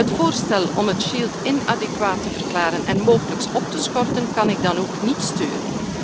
Het voorstel om het shield inadequaat te verklaren en mogelijks op te schorten, kan ik dan ook niet steunen.